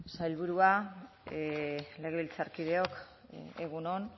sailburua legebiltzarkideok egun on